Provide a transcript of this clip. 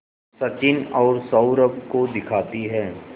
सचिन और सौरभ को दिखाती है